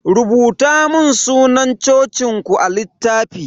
Rubuta mun sunan cocin ku a littafi.